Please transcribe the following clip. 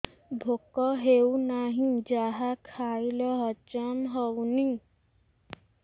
ଭୋକ ହେଉନାହିଁ ଯାହା ଖାଇଲେ ହଜମ ହଉନି